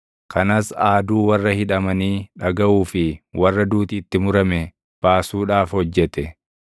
kanas aaduu warra hidhamanii dhagaʼuu fi warra duuti itti murame baasuudhaaf hojjete.”